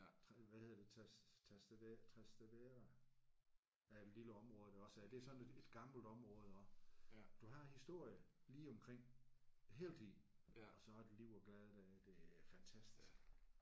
Hvad hedder det Trastevere er et lille område der også er. Det er sådan et et gammelt område også. Du har historien lige omkring hele tiden og så er der liv og glade dage. Det er fantastisk